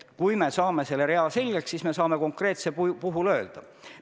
Kui me selles reas selgust saame, eks siis saame ka konkreetsele juhtumile hinnangu anda.